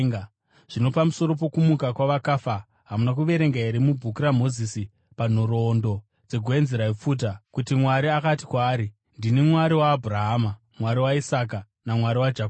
Zvino pamusoro pokumuka kwavakafa, hamuna kuverenga here mubhuku raMozisi, panhoroondo dzegwenzi raipfuta, kuti Mwari akati kwaari, ‘Ndini Mwari waAbhurahama, Mwari waIsaka, naMwari waJakobho’?